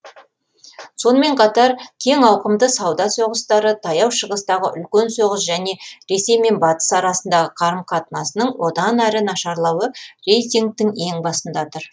сонымен қатар кең ауқымды сауда соғыстары таяу шығыстағы үлкен соғыс және ресей мен батыс арасындағы қарым қатынасының одан ары нашарлауы рейтингтің ең басында тұр